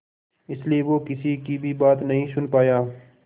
इसलिए वो किसी की भी बात नहीं सुन पाया